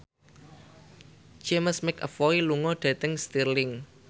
James McAvoy lunga dhateng Stirling